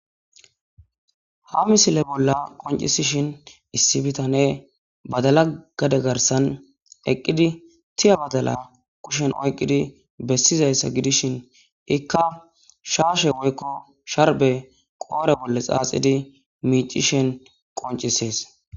ha misile bolla qoncisishin issi bitane badala gade garsan eqqidi tiya badala kushen oyqqidi bessizayssa gidishin ikka shaashe woykko sharbe qoore bolle xaaxidi miicishen qoncisees